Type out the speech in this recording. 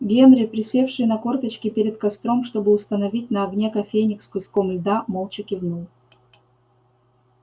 генри присевший на корточки перед костром чтобы установить на огне кофейник с куском льда молча кивнул